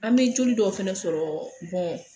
An be joli dɔw fana sɔrɔ